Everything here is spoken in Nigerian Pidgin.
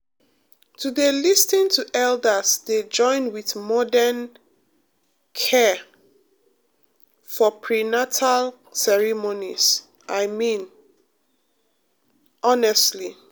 to dey lis ten to elders dey join with modern um care um for prenatal ceremonies i mean um honestly